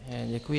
Děkuji.